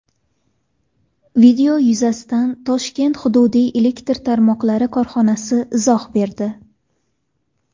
Video yuzasidan Toshkent hududiy elektr tarmoqlari korxonasi izoh berdi .